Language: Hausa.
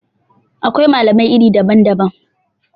Akwai malamai iri daban-daban